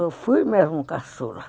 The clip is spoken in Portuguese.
Eu fui mesmo caçula.